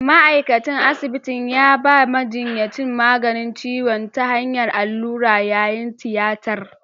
Ma’aikacin asibitin ya ba majinyacin maganin ciwo ta hanyar allura yayin tiyatar.